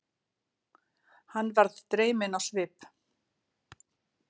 Hann varð dreyminn á svip.